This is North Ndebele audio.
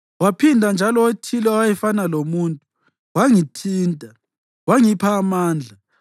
Waphinda njalo othile owayefana lomuntu wangithinta wangipha amandla.